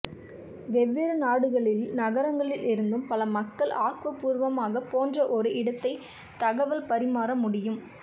வெவ்வேறு நாடுகளில் நகரங்களிலிருந்தும் பல மக்கள் ஆக்கப்பூர்வமாக போன்ற ஒரு இடத்தை தகவல் பரிமாற முடியும்